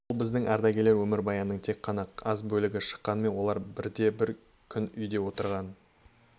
бұл біздің ардагерлер өмірбаянының тек қана аз бөлігі шыққанымен олар бірде бір күн үйде отырған